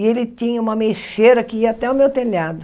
E ele tinha uma ameixeira que ia até o meu telhado.